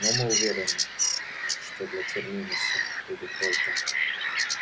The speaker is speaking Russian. но мы уверены что для терминуса будет только